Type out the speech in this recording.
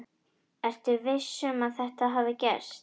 Ertu viss um að þetta hafi gerst?